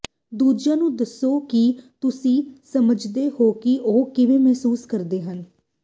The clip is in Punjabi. ਦੂਜਿਆਂ ਨੂੰ ਦੱਸੋ ਕਿ ਤੁਸੀਂ ਸਮਝਦੇ ਹੋ ਕਿ ਉਹ ਕਿਵੇਂ ਮਹਿਸੂਸ ਕਰਦੇ ਹਨ